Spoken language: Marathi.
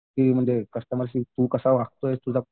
ते म्हणजे कस्टमरशी तू कसा वागतोयेस? तुला